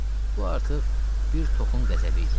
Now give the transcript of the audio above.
Bu artıq bir toxun qəzəbi idi.